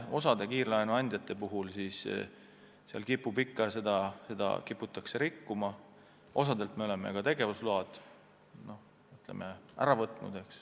Osa kiirlaenuandjaid kipub seda siiski rikkuma ja osalt me oleme ka tegevusloa ära võtnud.